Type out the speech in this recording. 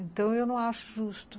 Então, eu não acho justo.